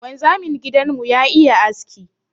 Wanzamin gidan mu ya iya aski.